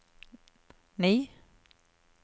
ni